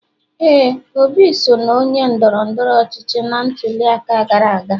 éè, Obi so na onye ndoro-ndoro ochichi na ntuli aka gara aga.